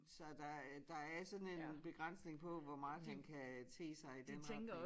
Så der øh der er sådan en begrænsning på hvor meget han kan te sig i den retning